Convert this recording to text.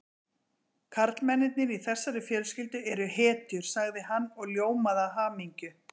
Karlmennirnir í þessari fjölskyldu eru hetjur sagði hann og ljómaði af hamingju.